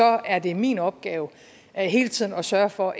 er det min opgave hele tiden at sørge for